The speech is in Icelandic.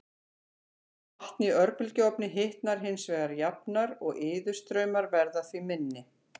Vatn í örbylgjuofni hitnar hins vegar jafnar og iðustraumar verða því minni.